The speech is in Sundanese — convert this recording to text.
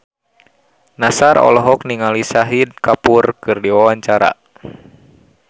Nassar olohok ningali Shahid Kapoor keur diwawancara